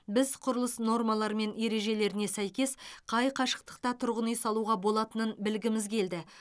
біз құрылыс нормалары мен ережелеріне сәйкес қай қашықтықта тұрғын үй салуға болатынын білгіміз келді